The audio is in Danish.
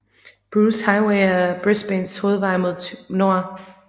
Bruce Highway er Brisbanes hovedvej mod nord